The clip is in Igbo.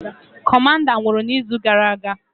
Kọmanda nwụrụ na izu gara aga